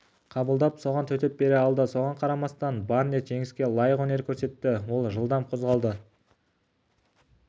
қабылдап соған төтеп бере алды соған қарамастан барнетт жеңіске лайық өнер көрсетті ол жылдам қозғалды